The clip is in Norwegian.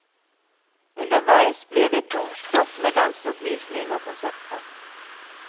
Underveis blir det to stopp med danseoppvisning og konserter.